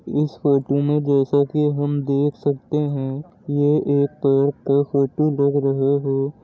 इस फोटो में जैसा कि हम देख सकते हैं ये एक पेड़ का फोटो लग रहा है।